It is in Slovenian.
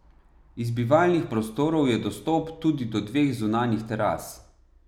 Iz bivalnih prostorov je dostop tudi do dveh zunanjih teras.